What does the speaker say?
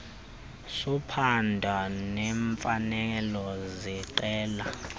sophando neemfanelo zeqela